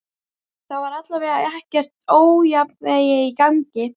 Það var allavega eitthvert ójafnvægi í gangi.